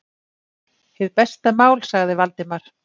Hið besta mál- sagði Valdimar.